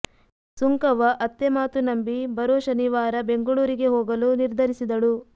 ಸುಂಕವ್ವ ಅತ್ತೆ ಮಾತು ನಂಬಿ ಬರೋ ಶನಿವಾರ ಬೆಂಗಳೂರಿಗೆ ಹೋಗಲು ನಿರ್ಧರಿಸಿದಳು